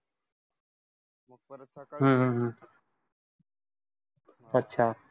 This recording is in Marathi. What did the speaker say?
हम्म हम्म अं अच्छा.